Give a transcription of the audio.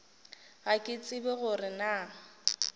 ga ke tsebe gore na